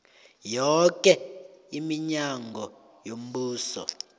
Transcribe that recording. yoke iminyango yombuso